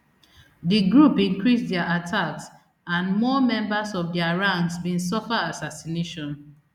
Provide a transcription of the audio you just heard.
di group increase dia attacks and more members of dia ranks bin suffer assassination